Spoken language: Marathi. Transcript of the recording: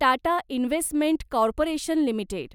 Tata investment corporation limited